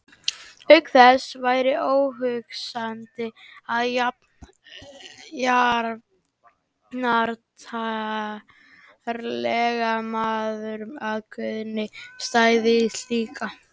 Auk þess væri óhugsandi að jafnartarlegur maður og Guðni stæði í slíku.